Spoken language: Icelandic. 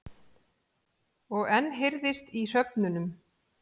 Og enn heyrðist í hröfnunum.